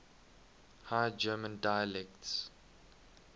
high german dialects